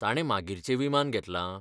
ताणें मागीरचें विमान घेतलां?